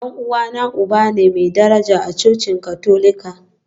Dan uwana uba ne mai daraja a cocin Katolika.